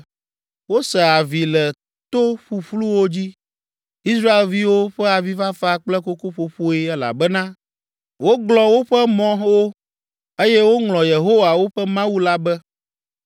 Wose avi le to ƒuƒluwo dzi, Israelviwo ƒe avifafa kple kokoƒoƒoe elabena woglɔ̃ woƒe mɔwo eye woŋlɔ Yehowa, woƒe Mawu la be.